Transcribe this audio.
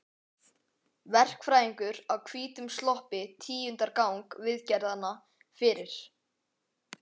Verkfræðingur á hvítum sloppi tíundar gang viðgerðanna fyrir